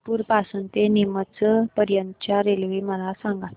उदयपुर पासून ते नीमच पर्यंत च्या रेल्वे मला सांगा